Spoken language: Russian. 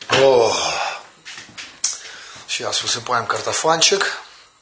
о сейчас уже поем картофанчик